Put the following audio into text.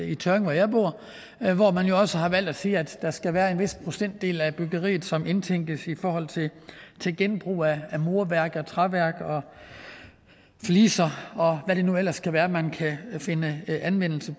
i tørring hvor jeg bor hvor man også har valgt at sige at der skal være en vis procentdel af byggeriet som indtænkes i forhold til genbrug af murværk og træværk og fliser og hvad det nu ellers kan være man kan finde anvendelse